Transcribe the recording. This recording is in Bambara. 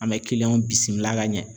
An bɛ bisimila ka ɲɛ.